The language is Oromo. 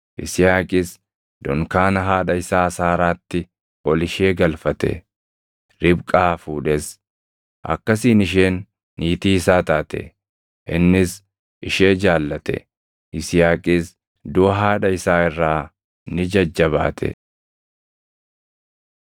Yisihaaqis dunkaana haadha isaa Saaraatti ol ishee galfate; Ribqaa fuudhes. Akkasiin isheen niitii isaa taate; innis ishee jaallate; Yisihaaqis duʼa haadha isaa irraa ni jajjabaate.